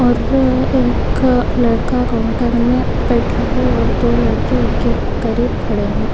और एक लड़का कॉउंटर में बैठा है और दो लड़के उसके करीब खड़े है।